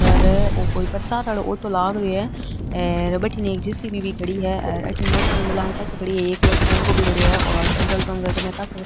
भटीने एक जेसीबी भी खड़ी है और अठे मोटरसाइकला और एक टेम्पो भी खड़यो है पेट्रोल पम्प के कने कासा --